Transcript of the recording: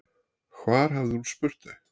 Hvar hafði hún spurt þau?